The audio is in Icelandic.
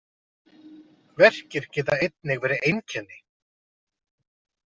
Verkir geta einnig verið einkenni.